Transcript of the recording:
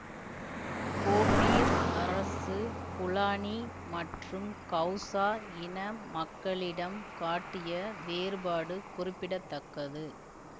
Gobir அரசு Fulani மற்றும் Hausa இன மக்களிடம் காட்டிய வேறுபாடு குறிப்பிட தக்கது